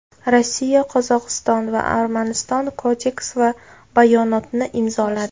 Rossiya, Qozog‘iston va Armaniston kodeks va bayonotni imzoladi.